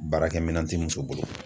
Baarakɛminɛn tɛ muso bolo.